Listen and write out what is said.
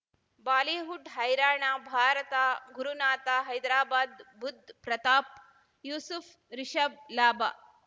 Bollywood ಹೈರಾಣ ಭಾರತ ಗುರುನಾಥ ಹೈದರಾಬಾದ್ ಬುಧ್ ಪ್ರತಾಪ್ ಯೂಸುಫ್ ರಿಷಬ್ ಲಾಭ